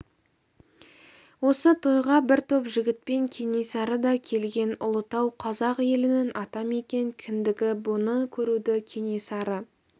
осы тойға бір топ жігітпен кенесары да келген ұлытау қазақ елінің атамекен кіндігі бұны көруді кенесары